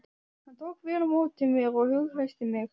Hann tók vel á móti mér og hughreysti mig.